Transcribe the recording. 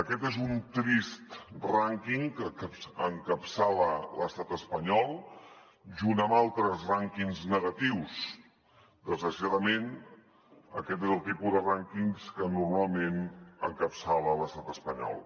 aquest és un trist rànquing que encapçala l’estat espanyol junt amb altres rànquings negatius desgraciadament aquest és el tipus de rànquings que normalment encapçala l’estat espanyol